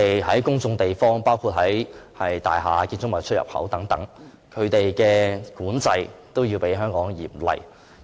在公眾地方，包括大廈、建築物出入口等，外地對吸煙的管制也較香港嚴厲。